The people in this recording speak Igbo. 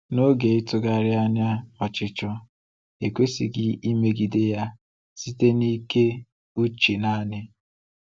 N’oge ịtụgharị anya n’ọchịchọ, ekwesịghị imegide ya site n’ike uche naanị.